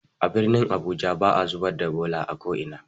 A birnin abuja ba'a zubar da bola a ko'ina.